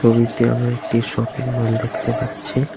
ছবিতে আমরা একটি শপিংমল দেখতে পাচ্ছি।